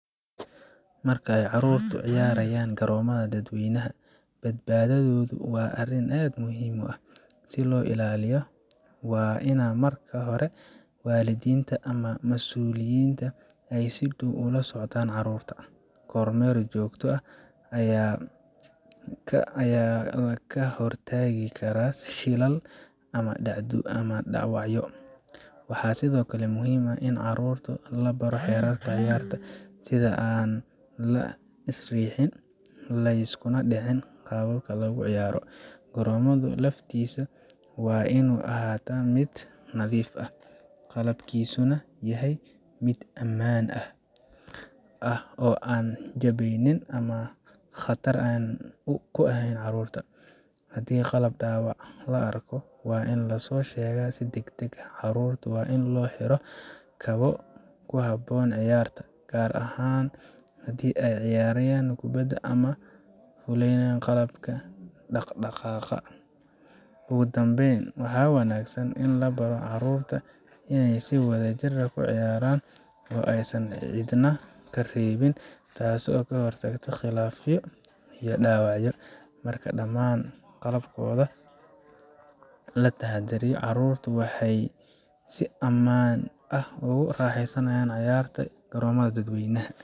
Marka ay caruurtu ciyaarayaan garoomada dadweynaha, badbaadadoodu waa arrin aad muhiim u ah. Si loo ilaaliyo, waa in marka hore waalidiinta ama masuuliyiintu ay si dhow ula socdaan carruurta. Kormeer joogto ah ayaa ka hortagi kara shilal ama dhaawacyo. Waxaa sidoo kale muhiim ah in caruurta la baro xeerarka ciyaarta sida aan la is riixin, la iskuna dhicin qalabka lagu ciyaaro. Garoomada laftiisa waa inuu ahaadaa mid nadiif ah, qalabkiisuna yahay mid ammaan ah oo aan jabnayn ama khatar ku ahayn carruurta. Haddii qalab dhaawac ah la arko, waa in la soo sheegaa si degdeg ah. Carruurta waa in loo xiro kabo ku habboon ciyaarta, gaar ahaan haddii ay ciyaarayaan kubadda ama ay fuulayaan qalab dhaqdhaqaaq Ugu dambeyn, waxaa wanaagsan in la baro carruurta inay si wadajir ah u ciyaaraan oo aysan cidna ka reebin, taasoo ka hortagta khilaafyo iyo dhaawacyo. Marka dhammaan qodobadan la taxadariyo, carruurtu waxay si ammaan ah ugu raaxaysan karaan ciyaarta garoomada dadweynaha.